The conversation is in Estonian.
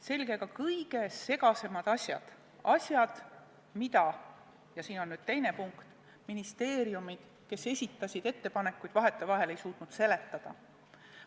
Selged olid ka kõige segasemad asjad, asjad, mida – ja see on nüüd teine punkt – ministeeriumid, kes esitasid ettepanekuid, osaliselt ei suutnud seletada.